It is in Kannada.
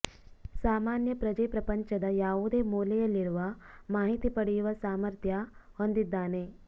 ಸಾಮಾನ್ಯ ಪ್ರಜೆ ಪ್ರಪಂಚದ ಯಾವುದೇ ಮೂಲೆಯಲ್ಲಿರುವ ಮಾಹಿತಿ ಪಡೆಯುವ ಸಾಮಥ್ರ್ಯ ಹೊಂದಿದ್ದಾನೆ